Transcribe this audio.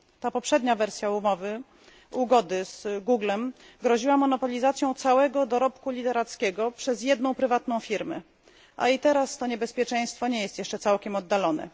Ta poprzednia wersja ugody z przedsiębiorstwem Google groziła monopolizacją całego dorobku literackiego przez jedną prywatną firmę, a i teraz to niebezpieczeństwo nie jest jeszcze całkiem oddalone.